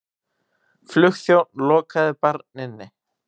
Flugþjónn lokaði barn inni